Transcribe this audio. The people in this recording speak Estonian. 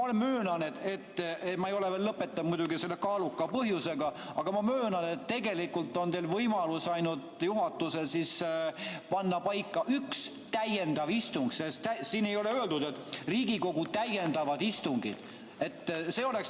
Ma ei ole veel lõpetanud muidugi selle kaaluka põhjusega, aga ma möönan, et tegelikult on teil võimalus juhatuses panna paika ainult üks täiendav istung, sest siin ei ole öeldud, et Riigikogu täiendavad istungid.